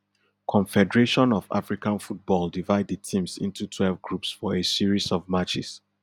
confederation of african football divide di teams into twelve groups for a series of matches